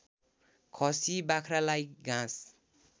खसी बाख्रालाई घाँस